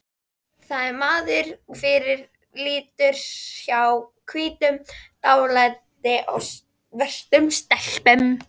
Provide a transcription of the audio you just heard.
Það sem maður fyrirlítur hjá hvítum- dálæti á svörtum stelpum